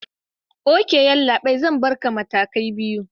Ok yallabai, Zan Barka matakai biyu